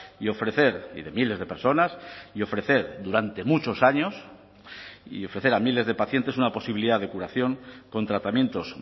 y ofrecer y de miles de personas y ofrecer durante muchos años y ofrecer a miles de pacientes una posibilidad de curación con tratamientos